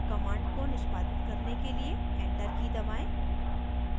command को निष्पादित करने के लिए enter की दबाएं